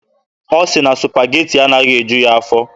Ọ sị na Supageti anaghị eju ya afọ.